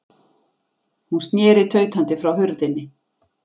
Hún sneri tautandi frá hurðinni.